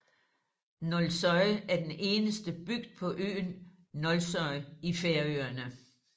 Nólsoy er den eneste bygd på øen Nólsoy i Færøerne